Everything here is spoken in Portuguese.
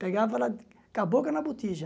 Pegava ela com a boca na botija.